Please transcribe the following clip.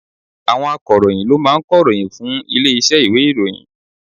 Àwọn akọ̀ròyìn ló máa ń kọ̀ròyìn fún ilé iṣẹ́ ìwé ìròyìn.